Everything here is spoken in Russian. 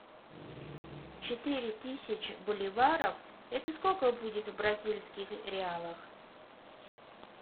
четыре тысячи боливаров это сколько будет в бразильских реалах